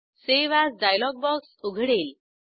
save as dialogue box उघडेल